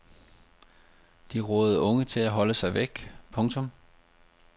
De rådede unge til at holde sig væk. punktum